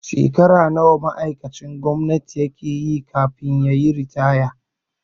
Shekara nawa ma'aikacin gwamnati yake yi kafin ritaya?